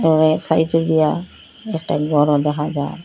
ওই খাইতে গিয়া একটা ঘরও দেখা যায়।